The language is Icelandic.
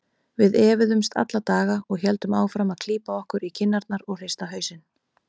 Við efuðumst alla daga og héldum áfram að klípa okkur í kinnarnar og hrista hausinn.